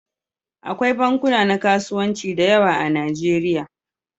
Akwai bankuna na kasuwanci da yawa a Nijeriya.